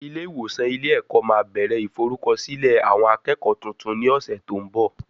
Ilé ìwòsàn ilé ẹ̀kọ́ máa bẹ̀rẹ̀ ìforúkọsílẹ̀ àwọn akẹ́kọ̀ọ́ tuntun ní ọ̀sẹ̀ tó ń bọ̀